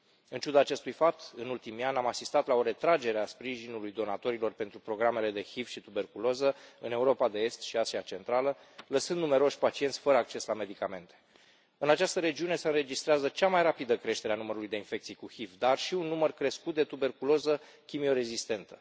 În ciuda acestui fapt, în ultimii ani, am asistat la o retragere a sprijinului donatorilor pentru programele de HIV și tuberculoză în Europa de Est și în Asia Centrală, lăsând numeroși pacienți fără acces la medicamente. În această regiune, se înregistrează cea mai rapidă creștere a numărului de infecții cu HIV, dar și un număr crescut de tuberculoză chimio rezistentă.